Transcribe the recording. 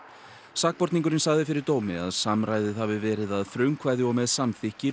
sakborningurinn sagði fyrir dómi að hafi verið að frumkvæði og með samþykki